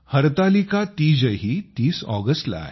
हरतालिका तीजही 30 ऑगस्टला आहे